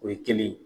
O ye kelen ye